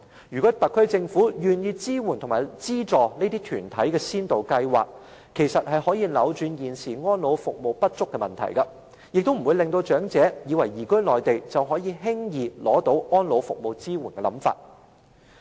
如果特區政府願意資助這些團體的先導計劃，就可以扭轉現時安老服務不足的問題，亦不會造成長者出現只須移居內地就可以輕易取得安老服務支援的想法。